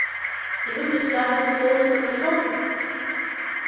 и вы предсказываете полную катастрофу